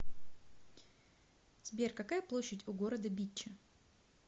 сбер какая площадь у города битча